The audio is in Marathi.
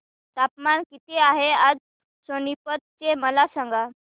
तापमान किती आहे आज सोनीपत चे मला सांगा